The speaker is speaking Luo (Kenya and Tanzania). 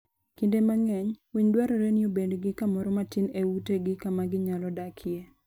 Kinde mang'eny, winy dwarore ni obed gi kamoro matin e utegi kama ginyalo dakie.